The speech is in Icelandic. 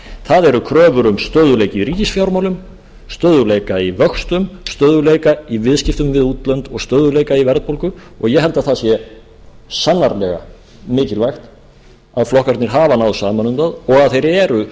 það eru kröfur um stöðugleika í ríkisfjármálum stöðugleika í vöxtum stöðugleika í viðskiptum við útlönd og stöðugleika í verðbólgu og ég held að það sé sannarlega mikilvægt að flokkarnir hafa náð saman um það og að þeir eru